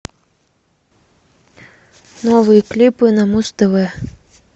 новые клипы на муз тв